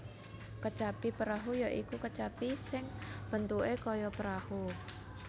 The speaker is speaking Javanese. Kecapi Parahu ya iku kecapi sing bentuke kaya perahu